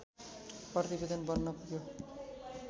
प्रतिवेदन बन्न पुग्यो